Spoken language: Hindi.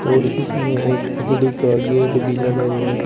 और इसमें एक लकड़ी का गेट भी लगा हुआ है।